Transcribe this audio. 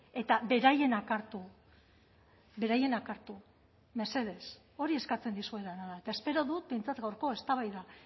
eta beraienak hartu beraienak hartu mesedez hori eskatzen dizuedana da eta espero dut behintzat gaurko eztabaida